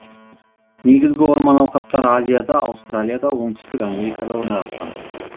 негізгі орман алқаптары азияда аустралияда оңтүстік америкада орналасқан